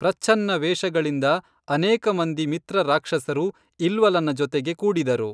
ಪ್ರಚ್ಛನ್ನ ವೇಷಗಳಿಂದ ಅನೇಕ ಮಂದಿ ಮಿತ್ರ ರಾಕ್ಷಸರು ಇಲ್ವಲನ ಜೊತೆಗೆ ಕೂಡಿದರು